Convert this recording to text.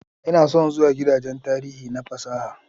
Ina son zuwa gidajen tarihi na fasaha